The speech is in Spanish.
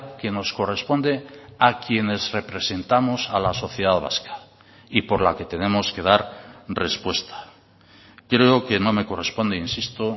que nos corresponde a quienes representamos a la sociedad vasca y por la que tenemos que dar respuesta creo que no me corresponde insisto